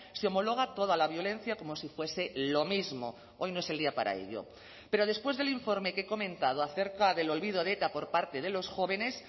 se homologa toda la violencia como si fuese lo mismo hoy no es el día para ello pero después del informe que he comentado acerca del olvido de eta por parte de los jóvenes